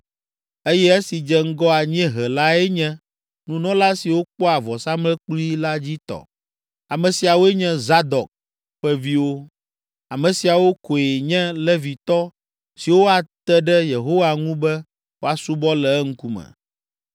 eye esi dze ŋgɔ anyiehe lae nye nunɔla siwo kpɔa vɔsamlekpui la dzi tɔ. Ame siawoe nye Zadok ƒe viwo, ame siawo koe nye Levitɔ siwo ate ɖe Yehowa ŋu be woasubɔ le eŋkume.”